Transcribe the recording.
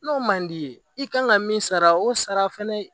N'o man d'i ye i kan ka min sara o sara fana